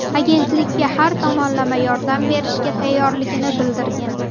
Agentlikka har tomonlama yordam berishga tayyorligini bildirgan.